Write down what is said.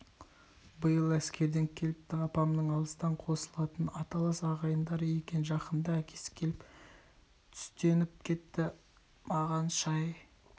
биыл әскерден келіпті апамның алыстан қосылатын аталас ағайындары екен жақында әкесі келіп түстеніп кетті маған шай